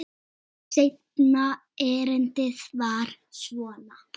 Seinna erindið var svona